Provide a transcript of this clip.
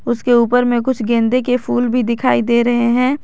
उसके ऊपर में कुछ गेंदे के फूल भी दिखाई दे रहे हैं।